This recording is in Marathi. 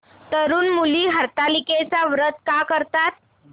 तरुण मुली हरतालिकेचं व्रत का करतात